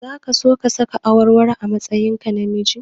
Zaka so ka saka awarwaro a matsayinka na namiji?